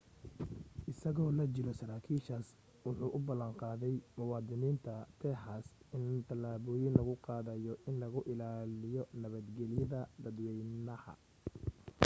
isagoo la jiro saraakiishaas wuxuu u ballan qaaday muwadiniinta texas in talaabooyin lagu qaadayo in lagu ilaaliyi nabadgeliyada dadwaynaha